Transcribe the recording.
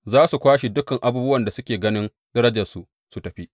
Za su kwashe dukan abubuwan da kake ganin darajarsu su tafi.’